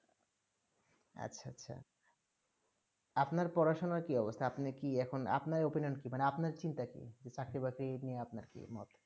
আচ্ছা আচ্ছা আপনার পড়াশোনা কি অবস্থা আপনি এখন আপনার opinion কি মানে আপনার চিন্তা কি যে চাকরি বাকরি নিয়ে আপনার কি মোট